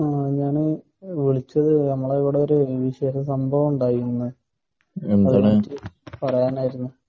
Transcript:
ഞാന് വിളിച്ചത് നമ്മളെ ഇവിടെ ചെറിയ ഒരു സംഭാവമുണ്ടായിന് ഇന്ന്. അത് പറയാനായിരുന്നു